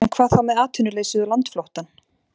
En hvað þá með atvinnuleysið og landflóttann?